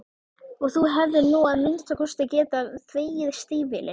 Og þú hefðir nú að minnsta kosti getað þvegið stígvélin.